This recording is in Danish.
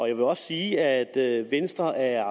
jeg vil også sige at venstre er